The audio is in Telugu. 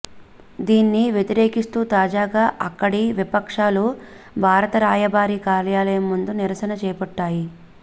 దీన్ని వ్యతిరేకిస్తూ తాజాగా అక్కడి విపక్షాలు భారత రాయబార కార్యాలయం ముందు నిరసన చేపట్టాయి